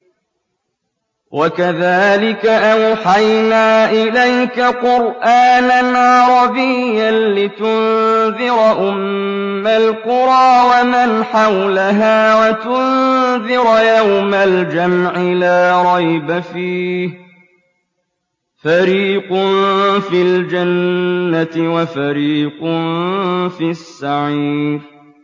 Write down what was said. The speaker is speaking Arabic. وَكَذَٰلِكَ أَوْحَيْنَا إِلَيْكَ قُرْآنًا عَرَبِيًّا لِّتُنذِرَ أُمَّ الْقُرَىٰ وَمَنْ حَوْلَهَا وَتُنذِرَ يَوْمَ الْجَمْعِ لَا رَيْبَ فِيهِ ۚ فَرِيقٌ فِي الْجَنَّةِ وَفَرِيقٌ فِي السَّعِيرِ